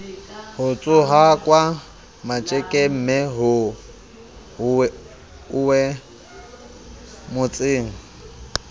ho tsohwaka matjekemme ho uwemotseng